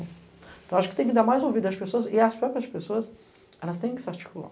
Acho que tem que dar mais ouvido às pessoas e às próprias pessoas, elas têm que se articular.